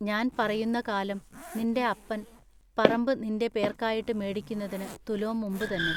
ഞാൻ പറയുന്നകാലം നിന്റെ അപ്പൻ പറമ്പ് നിന്റെ പേർക്കായിട്ട് മേടിക്കുന്നതിന് തുലോം മുമ്പു തന്നെ.